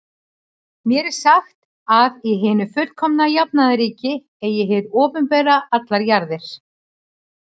Mér er sagt, að í hinu fullkomna jafnaðarríki eigi hið opinbera allar jarðir.